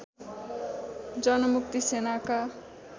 जनमुक्ति सेनाका